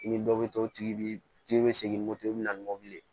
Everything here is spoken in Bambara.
I ni dɔ bɛ to o tigi bi tigi tigi bɛ segin moto bɛ na ni mobili